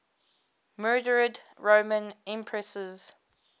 murdered roman empresses